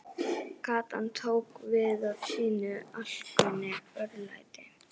Gatan tók við af sínu alkunna örlæti.